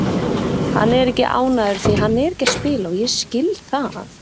Hann er ekki ánægður því hann er ekki að spila og ég skil það.